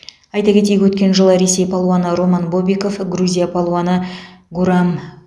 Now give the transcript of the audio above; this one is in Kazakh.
айта кетейік өткен жылы ресей палуаны роман бобиков грузия палуаны гурам